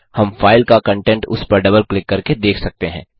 हम फाइल का कंटेंट उस पर डबल क्लिक करके देख सकते हैं